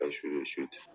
Ka